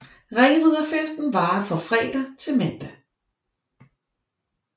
Ringriderfesten varer fra fredag til mandag